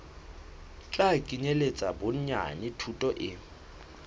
tla kenyeletsa bonyane thuto e